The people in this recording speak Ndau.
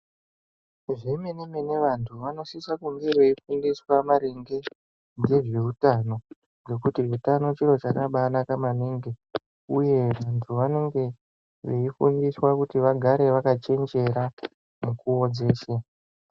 Zvemenemene vantu vanosisa kunge veifundiswa maringe ngezveutano ngekuti utano chirochakabanaka maningi uye vantu vanenge veifundiswa kuti vagare vakachenjera mukuwo dzeshe.